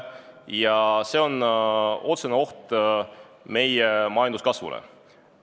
Ja see on otsene oht meie majanduskasvule.